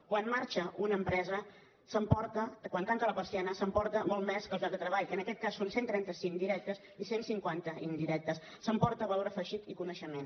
quan marxa una empresa quan tanca la persiana s’emporta molt més que els llocs de treball que en aquest cas són cent i trenta cinc de directes i cent i cinquanta d’indirectes s’emporta valor afegit i coneixement